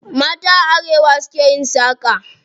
Mata a arewa su ke yin saƙa.